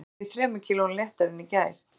Í morgun var ég þremur kílóum léttari en í gær